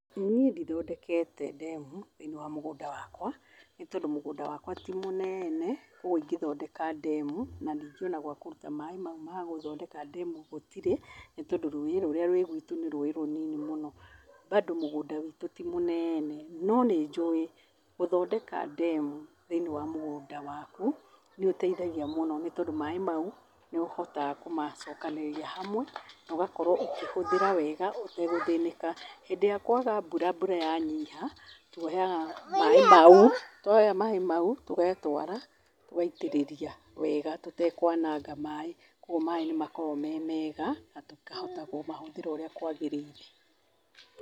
Niĩ ndithondekete demu thĩ-inĩ wa mũgũnda wakwa, nĩ tondũ mũgũnda wakwa ti mũnene, koguo ingĩthondeka demu, ona ndingĩona gwa kũruta maĩ mau ma gũthondeka demu gũtirĩ, nĩ tondũ rũĩ rũria rwĩ gwĩtũ nĩ rũĩ rũnini mũno. Bado mũgũnda witũ ti mũnene, no nĩ njũi gũthondeka demu thĩ-inĩ wa mũgũnda waku, nĩũteithagia mũno nĩ tondũ maĩ mau, nĩũhotaga kũmacokanĩrĩria hamwe na ũgakorwo ũkĩhũthĩra wega ũtagũthĩnĩka. Hĩndĩ ĩrĩa kwaga mbura mbura yanyiha, tuoyaga maĩ mau, tuoya maĩ mau tũgatwara, tũgaitĩrĩria wega tũtekwananga maĩ, koguo maĩ nĩ makoragwo me mega na tũkahota kũmahũthĩra ũrĩa kwagĩrĩire.